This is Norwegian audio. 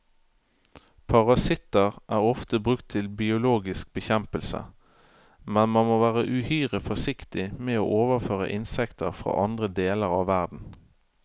Parasitter er ofte brukt til biologisk bekjempelse, men man må være uhyre forsiktig med å overføre insekter fra andre deler av verden.